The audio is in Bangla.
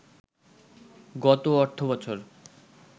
গত অর্থবছর